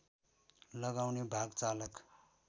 लगाउने भाग चालक